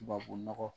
Tubabu nɔgɔ